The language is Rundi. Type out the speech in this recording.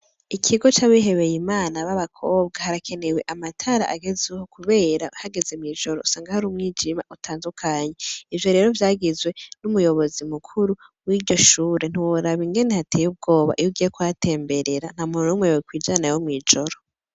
Ikigo c'abihebeye Imana babakobwa harakenewe amatara agezweho kubera hageze mw'ijoro usanga hari umwijima utandukanye ivyo rero vyagizwe n'umuyobozi mukuru wiryoshure , ntiworaba ingene hateye ubwoba iyo ugiye kuhatembera ntamuntu numwe yokwijanayo mw'ijoro .